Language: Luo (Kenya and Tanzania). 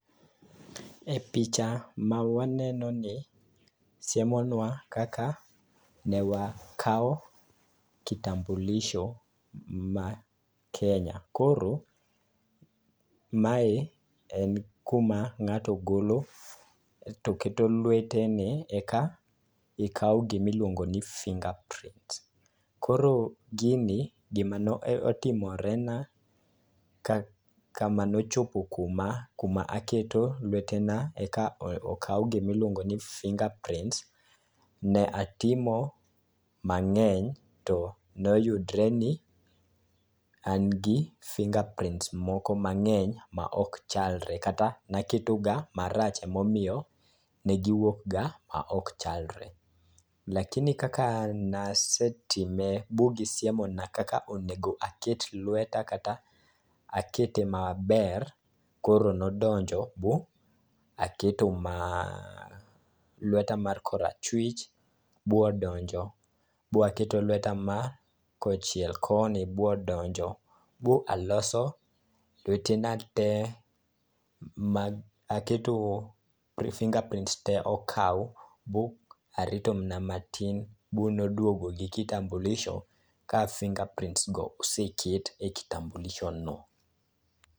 E picha ma wanenoni, siemonwa kaka ne wakawo kitambulisho ma kenya. Koro mae en kuma ng'ato golo to keto lwetene eka ikaw gimiluongo ni finger prints. Koro gini, gimano timorena kama nochopo kuma aketo lwetena eka okaw gimiluongoni finger prints, ne atimo mang'eny to noyudre ni an gi finger prints moko mang'eny ma ok chalre kata naketoga marach emomiyo ne giwuok ga ma ok chalre. Lakini kaka nasetime bu gisiemona kaka onego aket lweta kata akete maber, koro nodonjo bu aketo lweta mar kora chjwich bodonjo baketo lweta ma kochiel koni bodonjo bu aloso lwetena te ma aketo finger prints te okaw, bu arito mna matin, bu noduogo gi kitambulisho ka finger prints go oseket e kitambulisho no.